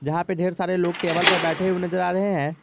जहां पे ढेर सारे लोग टेबल पे बैठे नजर आ रहे है।